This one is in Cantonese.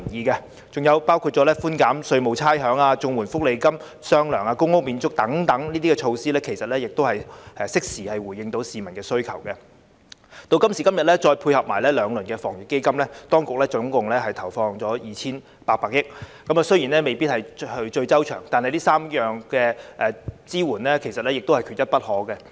還有寬減稅務差餉、綜合社會保障援助和其他福利金發放"雙糧"、公屋免租等措施，其實也能夠適時回應市民的需求，再配合現時的兩輪防疫抗疫基金措施，當局合共投放 2,800 億元，雖然未必是最周詳，但這3項支援缺一不可。